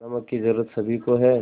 नमक की ज़रूरत सभी को है